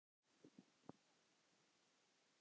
Hafðu þökk fyrir mildi þína.